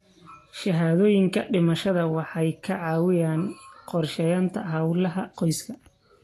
Shahaadooyinka dhimashada waxay ka caawiyaan qorsheynta hawlaha qoyska.